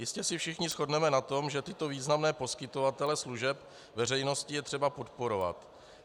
Jistě se všichni shodneme na tom, že tyto významné poskytovatele služeb veřejnosti je třeba podporovat.